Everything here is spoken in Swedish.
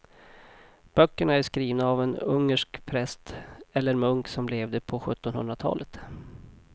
Böckerna är skrivna av en ungersk präst eller munk som levde på sjuttonhundratalet.